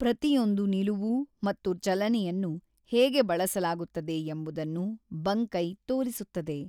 ಪ್ರತಿಯೊಂದೂ ನಿಲುವು ಮತ್ತು ಚಲನೆಯನ್ನು ಹೇಗೆ ಬಳಸಲಾಗುತ್ತದೆ ಎಂಬುದನ್ನು ಬಂಕೈ ತೋರಿಸುತ್ತದೆ.